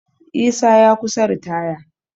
Isa ya kusa ritaya